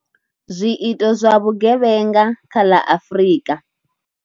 Zwiito zwa vhugevhenga kha ḽa Afrika.